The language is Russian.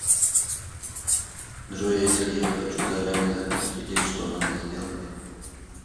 джой а если я хочу заранее закрыть кредит что надо сделать